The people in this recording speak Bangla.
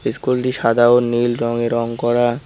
স্কুলটি সাদা ও নীল রঙে রং করা।